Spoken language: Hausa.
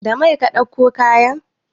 Da mai ka ɗauko kayan?